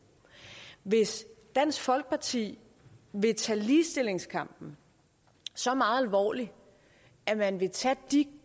hvis dansk folkeparti vil tage ligestillingskampen så meget alvorligt at man vil tage de